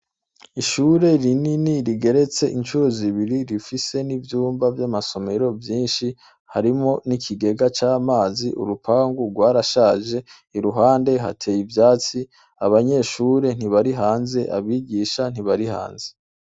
Ishure rinini rigeretse incuro zibiri rifise n'ivyumba vy'amasomero vyinshi harimwo n'ikigega c'amazi. Urupangu rwarashaje, iruhande hateye ivyatsi, abanyeshure ntibari hanze, abigisha ntibari hanze.